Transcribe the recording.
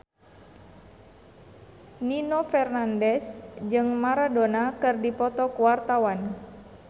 Nino Fernandez jeung Maradona keur dipoto ku wartawan